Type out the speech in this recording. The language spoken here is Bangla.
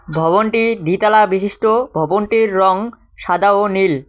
ভবনটি দ্বিতলা বিশিষ্ট ভবনটির রঙ সাদা ও নীল।